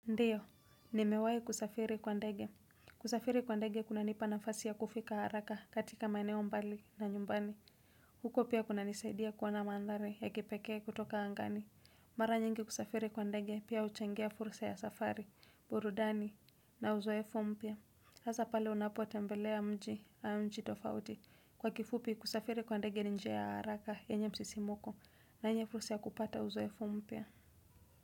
Ndiyo, nimewai kusafiri kwa ndege. Kusafiri kwa ndege kunanipa nafasi ya kufika haraka katika maeneo mbali na nyumbani. Huko pia kunanisaidia kuwa na mandhari ya kipekee kutoka angani. Mara nyingi kusafiri kwa ndege pia huchangia fursa ya safari, burudani na uzoefu mpya. Hasa pale unapo tembelea mji au nchi tofauti. Kwa kifupi kusafiri kwa ndege njia ya haraka yenye msisimuko na yenye fursa ya kupata uzoefo mpya.